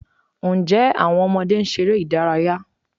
Ǹjẹ́ àwọn ọmọdé ń ṣeré ìdárayá?